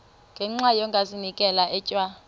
ngenxa yokazinikela etywa